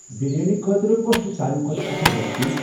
بریانی خٲطرٕ کۄس چِھ ساروٕے کھۄتہٕ اصل ریسِپی ؟